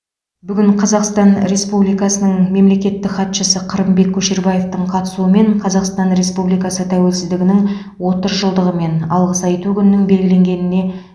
бүгін қазақстан республикасының мемлекеттік хатшысы қырымбек көшербаевтың қатысуымен қазақстан республикасы тәуелсіздігінің отыз жылдығы мен алғыс айту күнінің белгіленгеніне